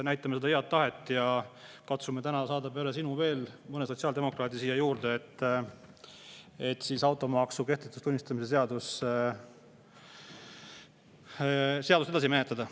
Näitame head tahet ja katsume täna saada peale sinu veel mõne sotsiaaldemokraadi siia juurde, et automaksu kehtetuks tunnistamise seadust edasi menetleda.